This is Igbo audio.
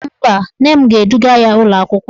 Mba, nne m ga-eduga ya ụlọakwụkwọ